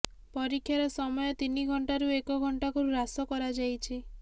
ପରୀକ୍ଷାର ସମୟ ତିନି ଘଣ୍ଟାରୁ ଏକ ଘଣ୍ଟାକୁ ହ୍ରାସ୍ କରାଯାଇଛି